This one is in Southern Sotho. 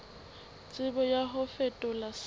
tshebetso ya ho fetola se